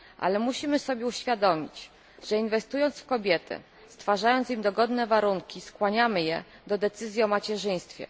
Ale musimy sobie uświadomić, że inwestując w kobiety, stwarzając im dogodne warunki, skłaniamy je do decyzji o macierzyństwie.